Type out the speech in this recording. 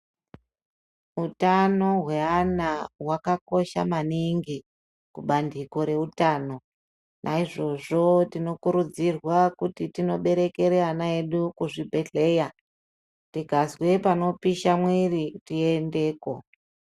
Utano hweana hwakakosha maningi kubandiko reutano naizvozvo tinokurudzirwa kuti tinoberekere ana edu kuzvibhedhleya tikazwe panopisha mwiiri tiendeko.